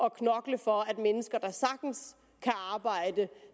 at knokle for at mennesker der sagtens kan arbejde